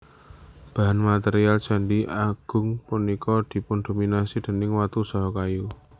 Bahan material Candhi Agung punika dipundominasi déning watu saha kayu